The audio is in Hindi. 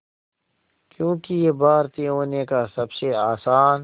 क्योंकि ये भारतीय होने का सबसे आसान